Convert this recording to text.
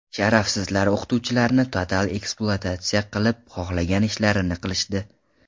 Sharafsizlar o‘qituvchilarni total ekspluatatsiya qilib, xohlagan ishlarini qilishdi.